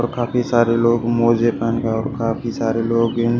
और काफी सारे लोग मोजे पेहन के और काफी सारे लोग इन--